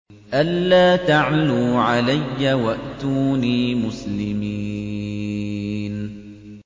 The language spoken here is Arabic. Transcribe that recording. أَلَّا تَعْلُوا عَلَيَّ وَأْتُونِي مُسْلِمِينَ